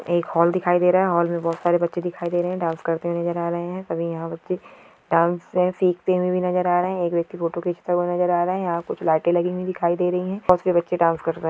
एक हॉल दिखाय दे रहा है। हॉल में बहुत सारे बच्चे दिखाई दे रहे है। डांस करते हुए नजर आ रहे है। अभी यहा पे बच्चे डांस सीखते हुये भी नजर आ रहे है। एक व्यक्ति फोटो खिचता हुआ नजर आ रहा है। यहा कुछ लाईटे लगी हुयी दिखाई दे रही हैं। उस पे बच्चे डांस कर रहे --